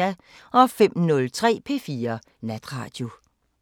05:03: P4 Natradio